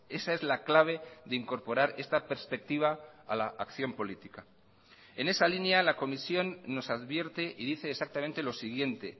esa es la clave de incorporar esta perspectiva a la acción política en esa línea la comisión nos advierte y dice exactamente lo siguiente